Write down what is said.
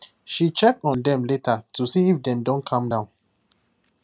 she check on them later to see if dem don calm down